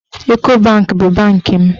Eko banki bụ bankị m.